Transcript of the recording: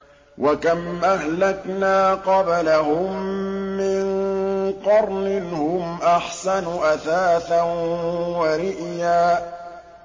وَكَمْ أَهْلَكْنَا قَبْلَهُم مِّن قَرْنٍ هُمْ أَحْسَنُ أَثَاثًا وَرِئْيًا